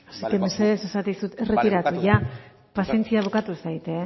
así que mesedez esaten dizut erretiratu ia bai barkatu pazientzia bukatu zait